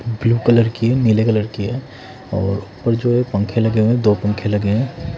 Blue colour की है नीले कलर की है और ऊपर जो ये पंखे लगे हैं दो पंखे लगे हैं।